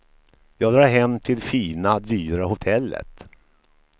Jag drar hem till fina, dyra hotellet.